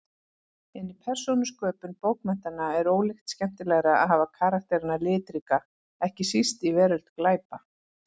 En í persónusköpun bókmenntanna er ólíkt skemmtilegra að hafa karakterana litríka, ekki síst í veröld glæpa.